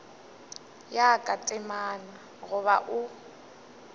ya ka temana goba o